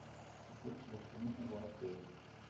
какой телефон у отеля